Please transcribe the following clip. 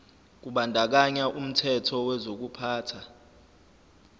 kubandakanya umthetho wokuphathwa